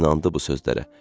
İnandı bu sözlərə.